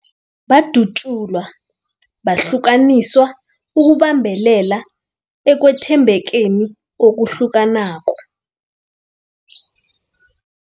Badatjulwa, bahlukaniswa ukubambelela ekwethembekeni okuhlukanako.